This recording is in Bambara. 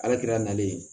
Ala kira nalen